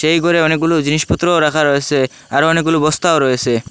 এই গরে অনেকগুলো জিনিসপত্রও রাখা রয়েসে আর অনেকগুলো বস্তাও রয়েসে।